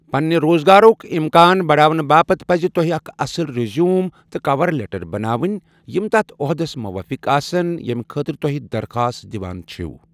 پنٛنہ روزگارک امکان بڑاونہٕ باپتھ پزِ تۄہہِ اکھ اصل رِیزیوٗم تہٕ کَۄَر لیٹر بناوٕنۍ یِم تتھ عہدس موٲفِق آسن ییمہِ خٲطرٕ توہہ درخواست دِوان چھِوٕ ۔